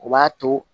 O b'a to